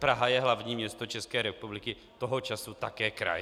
Praha je hlavní město České republiky, toho času také kraj.